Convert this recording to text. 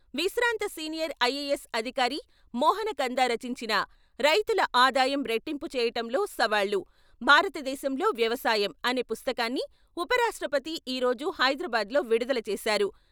విశ్రాంత senior IAS అధికారి మోహన కందా రచించిన " రైతుల ఆదాయం రెట్టింపు చేయటంలో సవాళ్ళు, భారత దేశంలో వ్యవసాయం " అనే పుస్తకాన్ని ఉపరాష్ట్రపతి ఈరోజు హైదరాబాద్ లో విడుదల చేశారు.